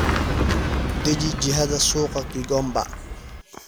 deji jihada suuqa gigomba